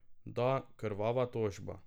Da, krvava tožba.